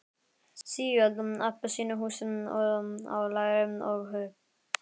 Sígild appelsínuhúð á læri og hupp.